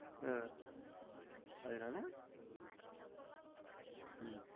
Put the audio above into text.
உம் அதுனால உம்